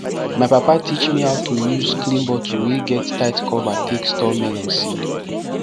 my papa teach me how to use clean bottle wey get tight cover take store melon seed